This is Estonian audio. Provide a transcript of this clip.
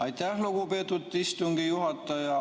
Aitäh, lugupeetud istungi juhataja!